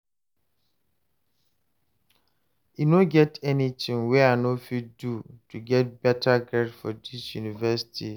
e no get anything wey I no fit do to get better grades for dis university